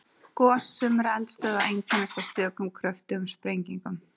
Gos sumra eldstöðva einkennast af stökum kröftugum sprengingum.